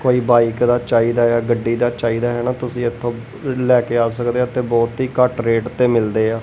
ਕੋਈ ਬਾਈਕ ਦਾ ਚਾਹੀਦਾ ਗੱਡੀ ਦਾ ਚਾਹੀਦਾ ਹਨਾ ਤੁਸੀਂ ਇਥੋਂ ਲੈ ਕੇ ਆ ਸਕਦੇ ਆ ਤੇ ਬਹੁਤ ਹੀ ਘੱਟ ਰੇਟ ਤੇ ਮਿਲਦੇ ਆ।